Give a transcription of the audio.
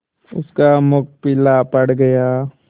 उसका मुख पीला पड़ गया